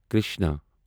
Krishna